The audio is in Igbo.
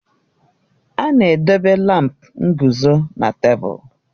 A na-edobe lámpu nguzo na tebụl.